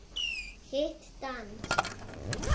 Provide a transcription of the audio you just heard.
Hitt danskt.